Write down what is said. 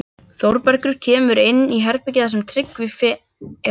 Þórbergur kemur inn í herbergið þar sem Tryggvi er fyrir.